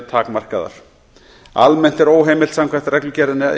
er takmörkuð almennt er óheimilt samkvæmt reglugerðinni að